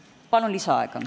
Palun lisaaega!